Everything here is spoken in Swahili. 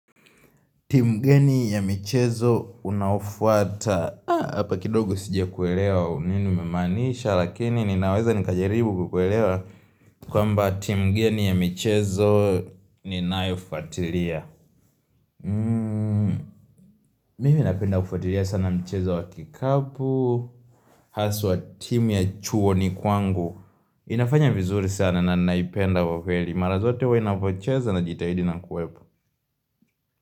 Timu gani ya michezo unafuata Hapa kidogo sijakuelewa nini umemaanisha Lakini ninaweza nikajaribu kukuelewa kwamba timu gani ya michezo ninaifuatilia Mimi napenda kufuatilia sana michezo wa kikapu Haswa timu ya chuoni kwangu inafanya vizuri sana na naipenda kwa kweli Mara zote huwa inavyocheza na jitahidi na kuwepo.